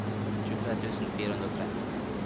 tjuetre tusen fire hundre og tre